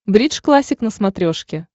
бридж классик на смотрешке